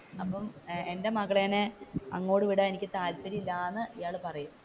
അപ്പൊ എന്റെ മകളിനെ അങ്ങോട്ട് വിടാൻ എനിക്ക് താല്പര്യമില്ല എന്ന് ഇയാൾ പറയുന്നു.